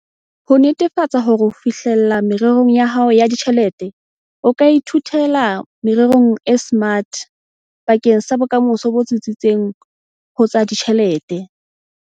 Ho netefatsa hore o fihlella merero ya hao ya ditjhelete, o ka ithuela merero e SMART bakeng sa bokamoso bo tsitsitseng ho tsa ditjhelete.